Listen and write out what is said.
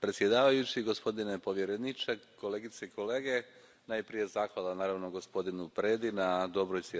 predsjedavajući, gospodine povjereniče, kolegice i kolege, najprije zahvala, naravno, gospodinu Predi na dobroj suradnji i na dobrome izvješću.